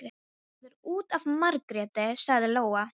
Það er út af Margréti, sagði Lóa.